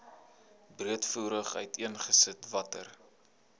breedvoerig uiteengesit watter